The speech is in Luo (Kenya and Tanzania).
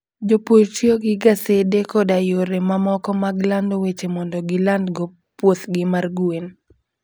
Jopur tiyo gi gasede koda yore mamoko mag lando weche mondo gilandgo puothgi mar gwen.